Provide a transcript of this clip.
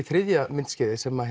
þriðja myndskeiðið sem